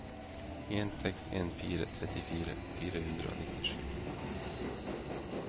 en seks en fire trettifire fire hundre og nittisju